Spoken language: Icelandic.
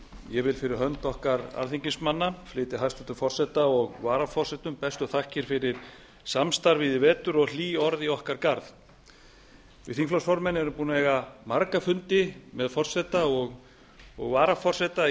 ég vil fyrir hönd okkar alþingismanna flytja hæstvirts forseta og varaforsetum bestu þakkir fyrir samstarfið í vetur og hlý orð í okkar garð við þingflokksformenn erum búnir að eiga marga fundi með forseta og varaforseta